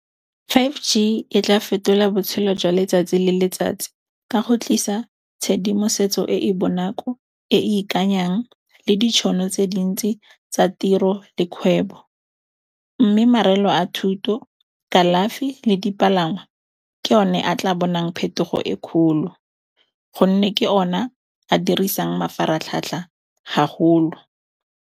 five G e tla fetola botshelo jwa letsatsi le letsatsi ka go tlisa tshedimosetso e e bonako, e e ikanyang le ditšhono tse dintsi tsa tiro le kgwebo. Mme marelo a thuto, kalafi le dipalangwa ke yone a tla bonang phetogo e kgolo gonne ke o na a dirisang mafaratlhatlha haholo.